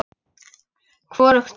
Hvorugt fundið.